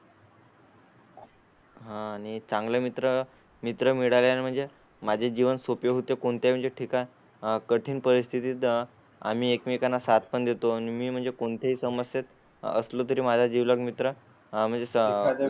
हां आणि चांगले मित्र मित्र मिळाल्या म्हणजे माझे जीवन सोपे होते. कोणत्याही ठिकाणी कठीण परिस्थितीत आम्ही एकमेकांना सात पण देतो आणि मी म्हणजे कोणत्याही समस्येत असलं तरी माझ्या जिवलग मित्र